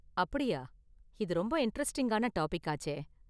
அப்படியா, இது ரொம்ப இன்டரஸ்டிங்கான டாபிக்காச்சே.